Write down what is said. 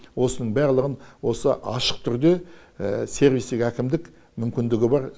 осының барлығын осы ашық түрде сервистік әкімдік мүмкіндігі бар